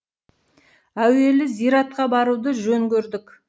әуелі зиратқа баруды жөн көрдік